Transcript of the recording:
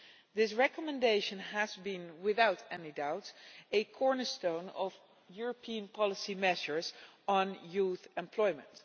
This recommendation has been, without any doubt, a cornerstone of European policy measures on youth employment.